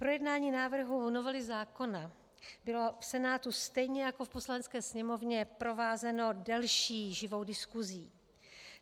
Projednání návrhu novely zákona bylo v Senátu stejně jako v Poslanecké sněmovně provázeno delší živou diskusí.